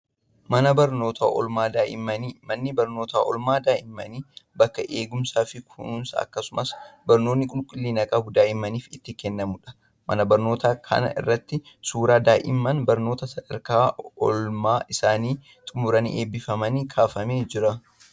Mana barnootaa oolmaa daa'immanii. Manni barnootaa oolmaa daa'immanii bakka eegumsaa fi kunuunsa akkasumas barnoonni qulqullina qabu daa'immaniif itti kennamudha. Mana barnootaa kana irrattis suuraan daa'imman barnoota sadarkaa oolmaa isaanii xumuranii eebbifamaniis kaafamee jira.